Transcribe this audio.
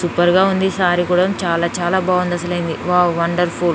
super గా ఉంది సారీ కూడా చాలా చాలా బాగుంది అసలేమీ వావ్ వండర్ఫుల్